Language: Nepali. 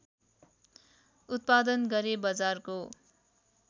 उत्पादन गरे बजारको